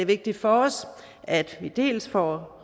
vigtigt for os at vi dels får